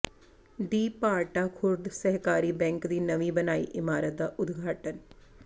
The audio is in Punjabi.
ਦੀ ਭਾਰਟਾ ਖ਼ੁਰਦ ਸਹਿਕਾਰੀ ਬੈਂਕ ਦੀ ਨਵੀਂ ਬਣਾਈ ਇਮਾਰਤ ਦਾ ਉਦਘਾਟਨ